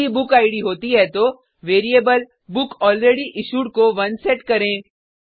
यदि बुकिड होती है तो वेरिएबल बुकलरेडयिश्यूड को 1 सेट करें